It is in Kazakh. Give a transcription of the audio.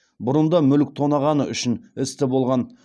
бұрын да мүлік тонағаны үшін істі болған